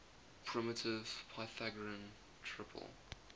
primitive pythagorean triple